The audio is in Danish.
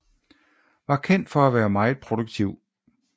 Var kendt for at være meget produktiv